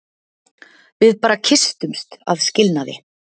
Við bara kysstumst að skilnaði.